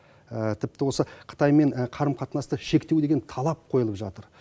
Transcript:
тіпті осы қытаймен қарым қатынасты шектеу деген талап қойылып жатыр